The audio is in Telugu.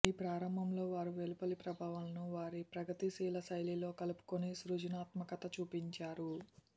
ఈ ప్రారంభంలో వారు వెలుపలి ప్రభావాలను వారి ప్రగతిశీల శైలిలో కలుపుకొని సృజనాత్మకత చూపించారు